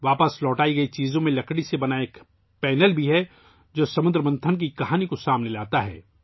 واپس کی جانے والی اشیاء میں لکڑی سے بنا ایک پینل بھی شامل ہے، جو سمدر منتھن کی کہانی کو پیش کرتا ہے